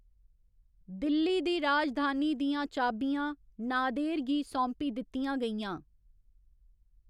दिल्ली दी राजधानी दियां चाबियाँ नादेर गी सौंपी दित्ती गेइआं।